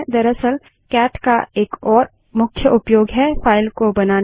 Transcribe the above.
दरअसलcat का एक और मुख्य उपयोग है फाइल को बनाना